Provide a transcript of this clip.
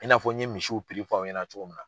I n'a fɔ n ye misiw fɔ aw ɲɛna cogo min na.